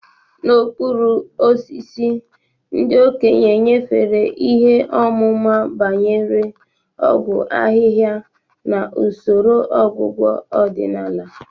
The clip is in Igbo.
N'okpuru osisi, ndị okenye nyefere ihe ọmụma banyere ọgwụ ahịhịa na usoro ọgwụgwọ ọdịnala.